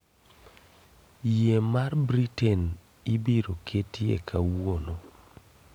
yie mar Britain ibiro ketie kawuono